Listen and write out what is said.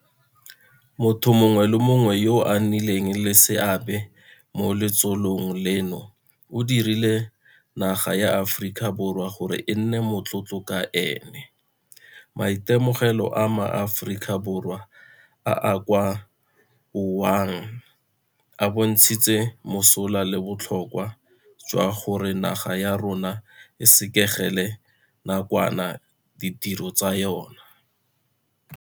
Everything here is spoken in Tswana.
Motho mongwe le mongwe yo a nnileng le seabe mo letsholong leno o dirile naga ya Aforika Borwa gore e nne motlotlo ka ene. Maitemogelo a maAforika Borwa a a kwa Wuhan a bontshitse mosola le botlhokwa jwa gore naga ya rona e sekegele nakwana ditiro tsa yona.